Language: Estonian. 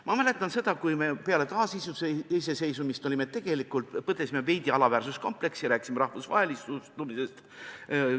Ma mäletan, kuidas me peale taasiseseisvumist põdesime veidi alaväärsuskompleksi ja rääkisime rahvusvahelistumisest.